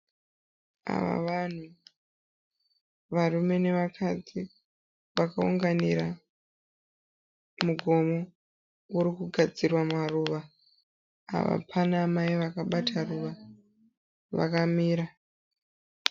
Ava vanhu, varume nevakadzi vakaunganira mugomo uri kugadzirwa maruva. Apa pana amai vakabata ruva vakamira.